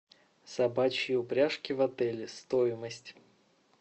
собачьи упряжки в отеле стоимость